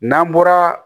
N'an bɔra